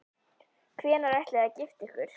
Hvenær ætlið þið að gifta ykkur?